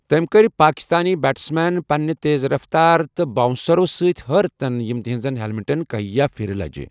تٕم کٕرِ پاکِستٲنہِ بیٹس مین پننیہِ تیز رفتارِ تہٕ بۄنٛسرو سٕتہِ حٲرتن یِم تہنزن ہیلمیٹن کہِیاہہِ پھرِ لٕجہِ ۔